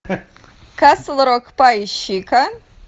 касл рок поищи ка